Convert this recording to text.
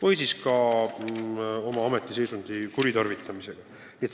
Või siis on oma ametiseisundit kuritarvitatud.